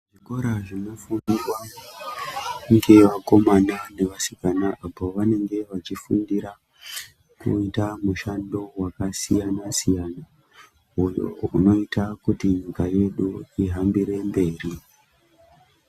Zvikora zvinofundwa ngevakomana nevasikana apo vanenge vachifundira kuita mushando wakasiyana-siyana, uyop unoita kuti nyika yedu ihambire mberi.